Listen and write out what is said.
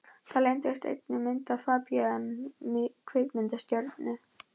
Þar leyndist einnig myndin af FABÍAN kvikmyndastjörnu.